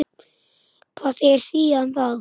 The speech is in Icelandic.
Hvað segir SÍA um það?